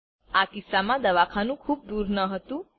આ કિસ્સામાં દવાખાનું ખુબ દૂર ન હતું